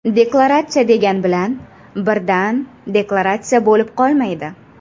Deklaratsiya degan bilan birdan deklaratsiya bo‘lib qolmaydi.